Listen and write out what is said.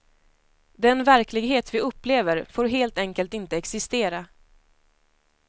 Den verklighet vi upplever får helt enkelt inte existera.